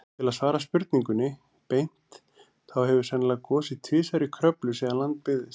Til að svara spurningunni beint, þá hefur sennilega gosið tvisvar í Kröflu síðan land byggðist.